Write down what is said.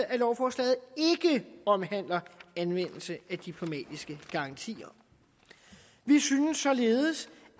at lovforslaget ikke omhandler anvendelse af diplomatiske garantier vi synes således